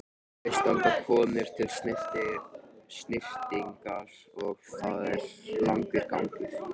Fyrst ganga konur til snyrtingar og það er langur gangur.